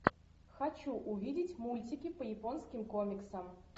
хочу увидеть мультики по японским комиксам